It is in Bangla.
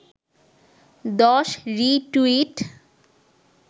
১০ রি-টুইট